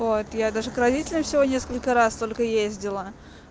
вот я даже к родителям всего несколько раз только ездила